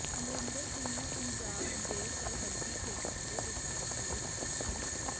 ਅਮਰਿੰਦਰ ਸਿੰਘ ਨੇ ਪੰਜਾਬ ਦੇ ਸਰਹੱਦੀ ਖੇਤਰਾਂ ਦੇ ਵਿਕਾਸ ਲਈ ਸਪੈਸ਼ਲ